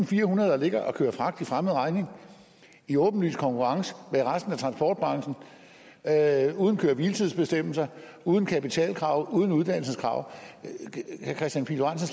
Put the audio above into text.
firehundrede der ligger og kører fragt for fremmed regning i åbenlys konkurrence med resten af uden køre hvile tids bestemmelser uden kapitalkrav uden uddannelseskrav